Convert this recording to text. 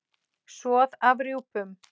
Soð af rjúpum